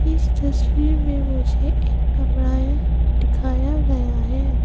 इस तस्वीर में मुझे एक कमरा दिखाया गया है।